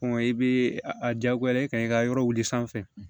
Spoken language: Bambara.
i bɛ a diyagoya i kan i ka yɔrɔ wuli sanfɛ